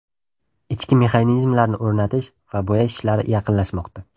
Ichki mexanizmlarni o‘rnatish va bo‘yash ishlari yaqinlashmoqda.